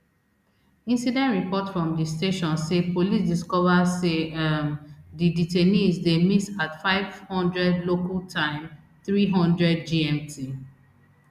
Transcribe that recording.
incident report from di station say police discova say um di detainees dey miss at five hundred local time three hundred gmt